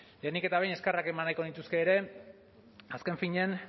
lehenik eta behin eskerrak eman nahiko nituzke ere azken finean